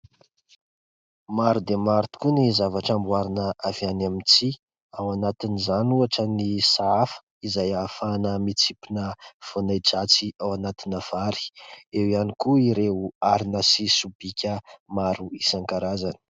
Maro dia maro tokoa ny zavatra amboarina avy any amin'ny tsihy. Ao anatin'izany ohatra ny sahafa izay ahafahana mitsimpona voana ahi-dratsy ao anatina vary. Eo ihany koa ireo harona sy sobika maro isan-karazany.